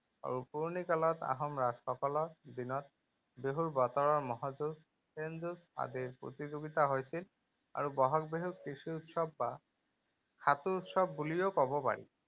আৰু পুৰণি কালত আহোম ৰজাসকলৰ দিনত বিহুৰ বতৰত মহ যুঁজ, সেন যুঁজ আদিৰ প্ৰতিযোগিতা হৈছিল আৰু বহাগ বিহুক কৃষি উৎসৱ বা উৎসৱ বুলিও কব পাৰি।